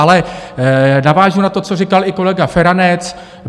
Ale navážu na to, co říkal i kolega Feranec.